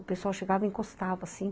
O pessoal chegava e encostava, assim.